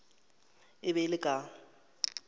e be e le ka